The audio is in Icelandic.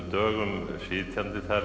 dögum sitjandi þar